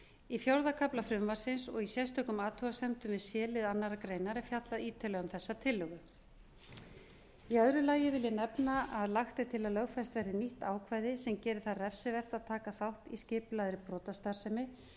í fjórða kafla frumvarpsins og í sérstökum athugasemdum við c lið annarrar greinar er fjallað ítarlega um þessa tillögu í öðru lagi vil ég nefna að lagt er til að lögfest verði nýtt ákvæði sem gerir það refsivert að taka þátt í skipulagðri brotastarfsemi